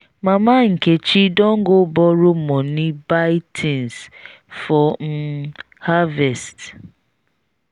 mama nkechi don go borrow money buy things for um harvest